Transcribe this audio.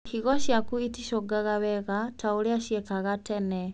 Higo ciaku iticungaga wega ta ũrĩa ciekaga tene